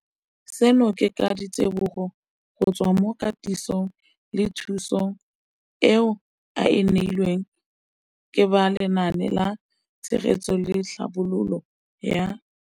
Seno ke ka ditebogo go tswa mo katisong le thu song eo a e neilweng ke ba Lenaane la Tshegetso le Tlhabololo ya.